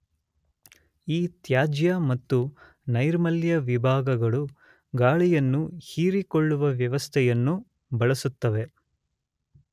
ಈ ತ್ಯಾಜ್ಯ ಮತ್ತು ನೈರ್ಮಲ್ಯ ವಿಭಾಗಗಳು ಗಾಳಿಯನ್ನು ಹೀರಿಕೊಳ್ಳುವ ವ್ಯವಸ್ಥೆಯನ್ನು ಬಳಸುತ್ತವೆ.